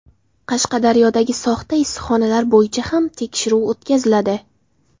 Qashqadaryodagi soxta issiqxonalar bo‘yicha ham tekshiruv o‘tkaziladi.